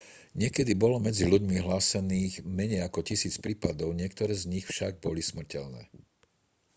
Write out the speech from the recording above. niekedy bolo medzi ľuďmi hlásených menej ako tisíc prípadov niektoré z nich však boli smrteľné